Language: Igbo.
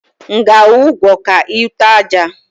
M ga ajwu ụgwọ ka e ute àjà?